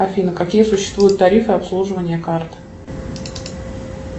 афина какие существуют тарифы обслуживания карт